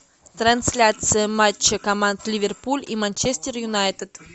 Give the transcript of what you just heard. трансляция матча команд ливерпуль и манчестер юнайтед